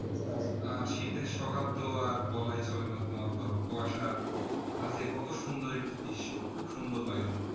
আহ শীতের সকাল তো আর বলাই চলে না তোমার ধরো কুয়াশার মাঝে কত সুন্দর একটি দৃশ্য খুব সুন্দর লাগে দেখতে